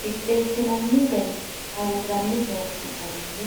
Qixxeessinanni garinninna worranni bayichi garinni